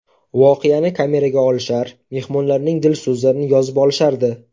Voqeani kameraga olishar, mehmonlarning dil so‘zlarini yozib olishardi.